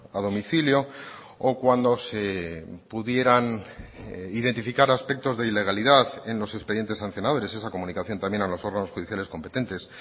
a domicilio o cuando se pudieran identificar aspectos de ilegalidad en los expedientes sancionadores esa comunicación también a los órganos judiciales competentes